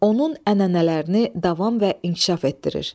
Onun ənənələrini davam və inkişaf etdirir.